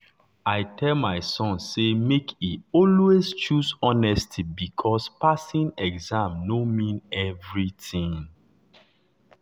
i tell my son say make e always choose honesty because passing exam no mean everything.